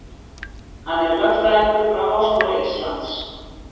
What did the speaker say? Hann er lögfræðingur frá Háskóla Íslands